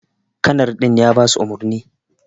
kanar din ya basu umurni.